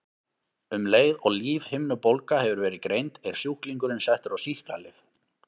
Um leið og lífhimnubólga hefur verið greind er sjúklingurinn settur á sýklalyf.